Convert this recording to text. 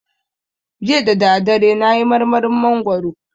Jiya dadadare nayi marmarin mangwaro